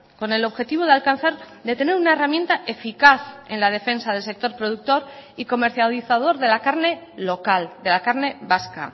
con el objetivo de alcanzar de tener una herramienta eficaz en la defensa del sector productor y comercializador de la carne local de la carne vasca